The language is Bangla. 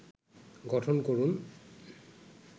গঠন করুন